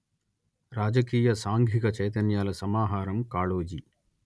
రాజకీయ సాంఘిక చైతన్యాల సమాహారం కాళోజి